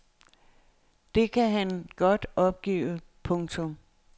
Det kan han godt opgive. punktum